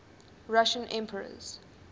russian emperors